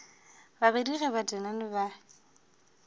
babedi ge ba tenane ba